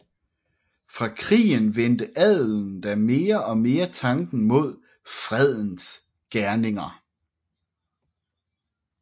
Fra krigen vendte adelen da mere og mere tanken mod fredens gerninger